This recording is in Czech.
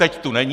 Teď tu není.